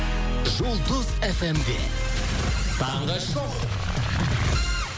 жұлдыз эф эм де таңғы шоу